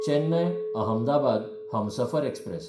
Chennai-Ahmedabad Humsafar express